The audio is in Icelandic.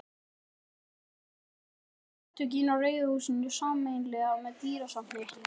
Því eitt áttu Samtökin í Rauða húsinu sameiginlegt með dýrasafni